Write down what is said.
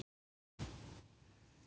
Jón Helgi.